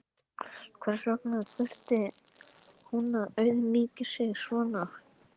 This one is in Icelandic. Hvers vegna þurfti hún að auðmýkja sig svona?